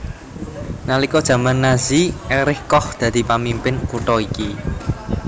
Nalika jaman Nazi Erich Koch dadi pamimpin kutha iki